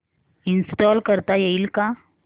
install करता येईल का